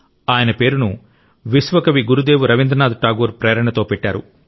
ఆయన పేరును విశ్వ కవి గురుదేవ్ రవీంద్రనాథ్ ఠాగూర్ ప్రేరణతో పెట్టారు